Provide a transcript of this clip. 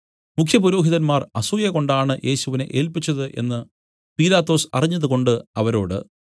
മുഖ്യപുരോഹിതന്മാർ അസൂയകൊണ്ടാണ് യേശുവിനെ ഏല്പിച്ചത് എന്നു പീലാത്തോസ് അറിഞ്ഞതുകൊണ്ട് അവരോട്